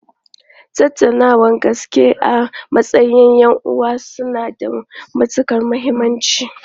Tattaunawar gaske a matsayin 'yan'uwa suna da matukar muhimmanci.